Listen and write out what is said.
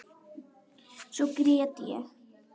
Svo grét ég.